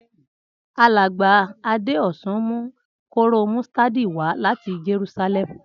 Alàgbà Adéòsun mu kóróo mustadi wa láti Jerúsálèmù